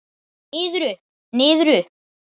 Niður, upp, niður upp.